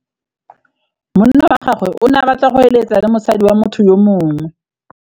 Monna wa gagwe o ne a batla go êlêtsa le mosadi wa motho yo mongwe.